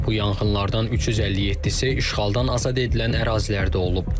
Bu yanğınlardan 357-si işğaldan azad edilən ərazilərdə olub.